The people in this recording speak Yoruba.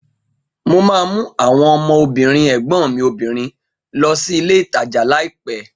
Mo ma mú àwọn ọmọ obìnrin ẹ̀gbọ́n mi obìnrin lọ sí ilé ìtajà laiopẹ̀